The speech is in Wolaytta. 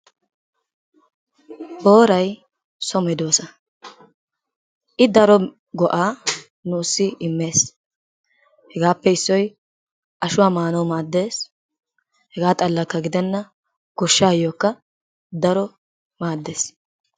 Booray so medoossa, I daro go'aa nuussi immees, hegaappe issoy ashuwa maanawu maaddees, hegaa xalakka gidenna goshshaayokka daro maaddees.